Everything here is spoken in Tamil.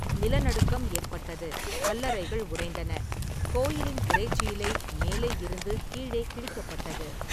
நிலநடுக்கம் ஏற்பட்டது, கல்லறைகள் உடைந்தன, கோயிலின் திரைச்சீலை மேலே இருந்து கீழே கிழிக்கப்பட்டது.